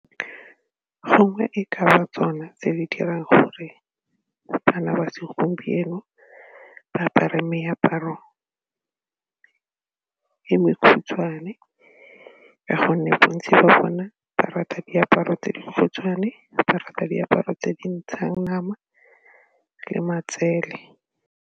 Gongwe e ka ba tsona tse di dirang gore bana ba segompieno ba apare meaparo e khutshwane ka gonne bontsi ba bone ba rata diaparo tse di khutshwane ba rata diaparo tse di ntshang nama le matsele.